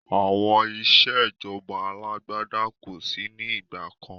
Àwọn ìsèjọba alàgbàda kosi ni ìgbàkan